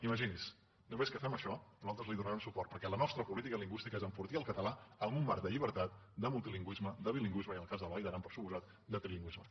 imagini’s només que fem això nosaltres li donarem suport perquè la nostra política lingüística és enfortir el català en un marc de llibertat de multilingüisme de bilingüisme i en el cas de la vall d’aran per descomptat de trilingüisme